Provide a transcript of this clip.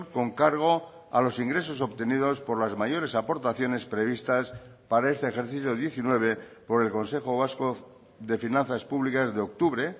con cargo a los ingresos obtenidos por las mayores aportaciones previstas para este ejercicio diecinueve por el consejo vasco de finanzas públicas de octubre